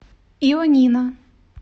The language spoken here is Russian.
ионина